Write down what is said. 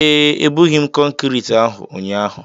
ee, ebughị m kọnkrịtị ahụ ụnyaahụ